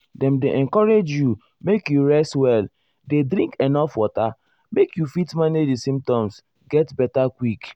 dem dey encourage you make you rest well dey drink enuf water make you fit manage di symptoms get beta quick.